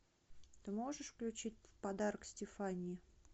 ты можешь включить подарок стефании